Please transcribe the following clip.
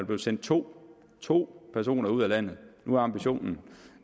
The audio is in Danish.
der sendt to to personer ud af landet nu er ambitionen